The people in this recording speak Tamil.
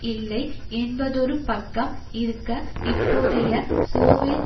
இல்லை என்பதொரு பக்கம் இருக்க இப்போதைய சோவியத்